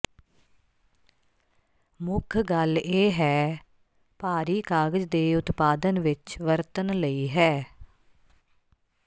ਮੁੱਖ ਗੱਲ ਇਹ ਹੈ ਭਾਰੀ ਕਾਗਜ਼ ਦੇ ਉਤਪਾਦਨ ਵਿੱਚ ਵਰਤਣ ਲਈ ਹੈ